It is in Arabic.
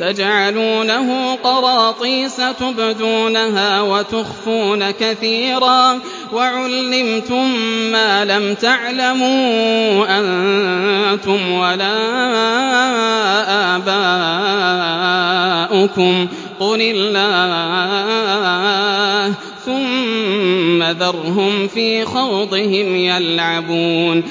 تَجْعَلُونَهُ قَرَاطِيسَ تُبْدُونَهَا وَتُخْفُونَ كَثِيرًا ۖ وَعُلِّمْتُم مَّا لَمْ تَعْلَمُوا أَنتُمْ وَلَا آبَاؤُكُمْ ۖ قُلِ اللَّهُ ۖ ثُمَّ ذَرْهُمْ فِي خَوْضِهِمْ يَلْعَبُونَ